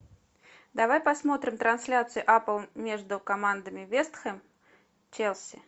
давай посмотрим трансляцию апл между командами вест хэм челси